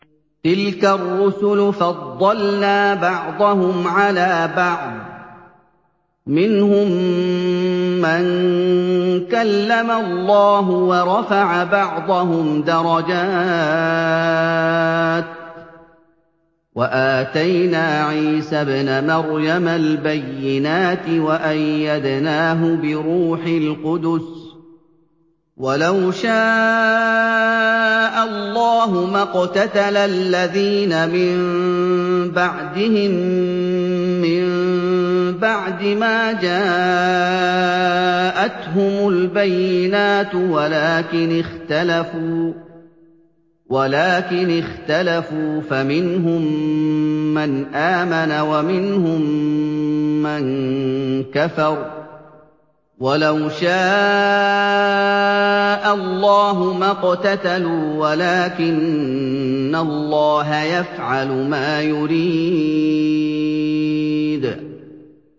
۞ تِلْكَ الرُّسُلُ فَضَّلْنَا بَعْضَهُمْ عَلَىٰ بَعْضٍ ۘ مِّنْهُم مَّن كَلَّمَ اللَّهُ ۖ وَرَفَعَ بَعْضَهُمْ دَرَجَاتٍ ۚ وَآتَيْنَا عِيسَى ابْنَ مَرْيَمَ الْبَيِّنَاتِ وَأَيَّدْنَاهُ بِرُوحِ الْقُدُسِ ۗ وَلَوْ شَاءَ اللَّهُ مَا اقْتَتَلَ الَّذِينَ مِن بَعْدِهِم مِّن بَعْدِ مَا جَاءَتْهُمُ الْبَيِّنَاتُ وَلَٰكِنِ اخْتَلَفُوا فَمِنْهُم مَّنْ آمَنَ وَمِنْهُم مَّن كَفَرَ ۚ وَلَوْ شَاءَ اللَّهُ مَا اقْتَتَلُوا وَلَٰكِنَّ اللَّهَ يَفْعَلُ مَا يُرِيدُ